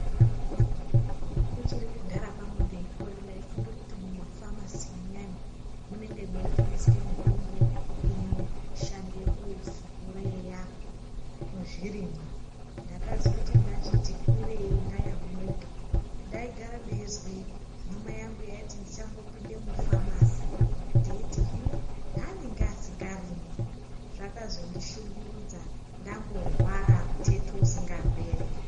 Kuchiri kudhaya kwangu ndeikura ndaifunge kuti mumafamasi muyani munenge mweitengeswe mitombo inoshande kusupureya zvirimwa ndakazoti ndachiti kurei ndayamurika ndaigare ndeizwe hama yangu yeiti ndichambopinde mufamasi ndeiti hino haanenge asingarimi zvakazondishungurudza ndamborwara muteto usingaperi.